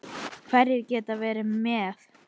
Hverjir geta verið með?